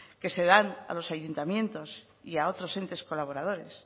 que se dan a los ayuntamientos y a otros entes colaboradores